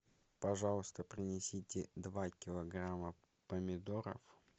пожалуйста принесите два килограмма помидоров